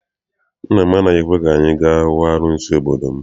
Nna m anaghị ekwe ka anyị ga hụ arụsị obodo m.